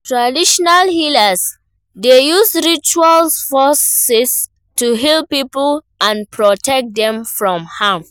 Traditional healers dey use rituals forces to heal people and protect dem from harm.